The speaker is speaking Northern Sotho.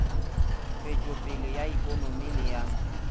tšwetšopele ya ikonomi le ya